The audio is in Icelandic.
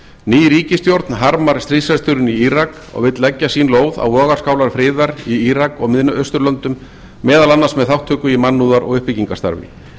ný ríkisstjórn harmar stríðsreksturinn í írak og vill leggja sín lóð á vogarskál friðar í írak og mið austurlöndum meðal annars með þátttöku í mannúðar og uppbyggingarstarfi